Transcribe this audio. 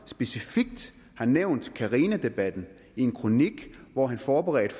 specifikt har nævnt carinadebatten i en kronik hvor han forberedte